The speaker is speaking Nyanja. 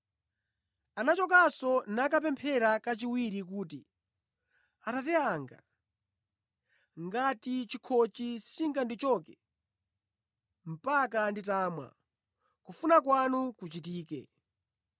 Anachokanso nakapemphera kachiwiri kuti, “Atate anga, ngati chikhochi sichingandichoke, mpaka nditamwa, kufuna kwanu kuchitike.”